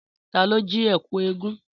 Tà lò jí ẹkú ẹgún?